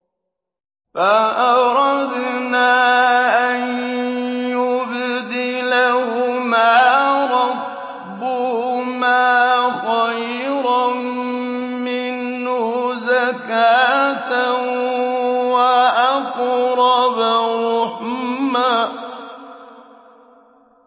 فَأَرَدْنَا أَن يُبْدِلَهُمَا رَبُّهُمَا خَيْرًا مِّنْهُ زَكَاةً وَأَقْرَبَ رُحْمًا